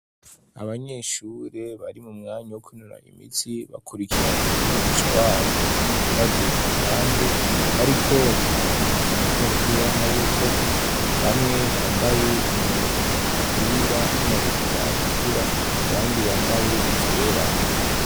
Abanyeshure bari mu mwanya wo kinura imiti bakurikiranwa n'umugisha wabo ahagaze ku ruhande bariko bakina urukino rw'umupira w'amaboko, bamwe bambaye imipira n'amabutura atukura abandi bambaye ivyera.